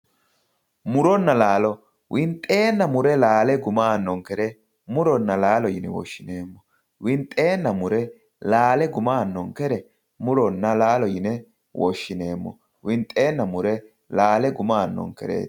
muronna laalo winxeenna mure laale guma aanonkere muronna laalo yine woshineemmo winxeenna mure laale guma aannonkere muronna laalo yine woshshineemmo winxeenna mure laale guma aannonkereeti.